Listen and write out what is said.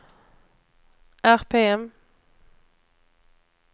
RPM